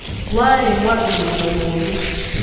warĩ mwambĩrĩrio mũru